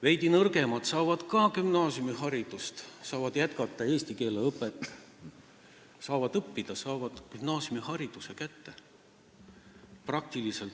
Veidi nõrgemad saavad ka gümnaasiumiharidust, saavad jätkata eesti keele õpet, nad saavad õppida ja saavad gümnaasiumihariduse kätte.